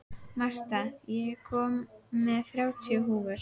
Marta, ég kom með þrjátíu húfur!